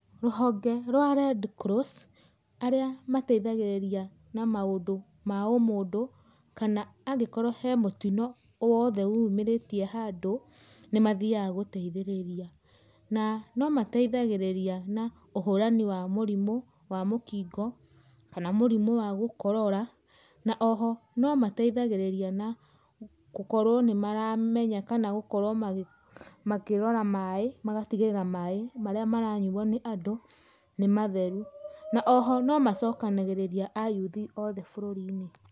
Ruhonge rwa Red Cross, arĩa mateĩthagĩrĩria na maũndu ma ũmũndũ, kana angĩkorwo he mũtino owothe wĩyumĩrĩtie handũ nĩmathiyaga gũteĩthĩrirĩa. Na nomateithagĩrirĩa na ũhũranĩ wa mũrimũ wa mũkingo, kana mũrimũ wa gũkorora. Na oho no mateĩthagĩrĩria na gukorwo nĩ maramenya kana gukorwo makĩrora maaĩ magatĩgĩrĩra maaĩ marĩa maranyũo nĩ andũ nĩ matheru. Oho no macokanagĩrĩria ayũthi othe bũrũrĩ-inĩ.